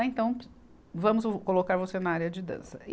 Ah, então vamos colocar você na área de dança.